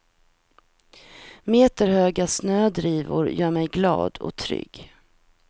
Meterhöga snödrivor gör mig glad och trygg.